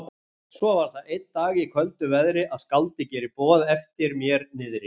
Svo var það einn dag í köldu veðri, að skáldið gerir boð eftir mér niðri.